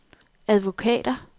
advokater